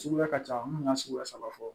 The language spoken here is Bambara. Suguya ka ca mun ka suguya saba fɔ